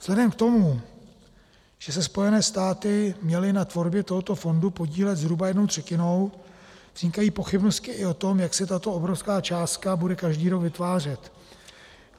Vzhledem k tomu, že se Spojené státy měly na tvorbě tohoto fondu podílet zhruba jednou třetinou, vznikají pochybnosti i o tom, jak se tato obrovská částka bude každý rok vytvářet.